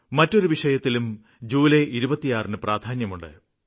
മറ്റൊരു വിഷയത്തിലും ജൂലൈ 26ന് പ്രാധാന്യമുണ്ട്